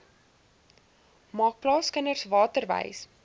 maak plaaskinders waterwys